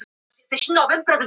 Afar ólíkir kostir en síðast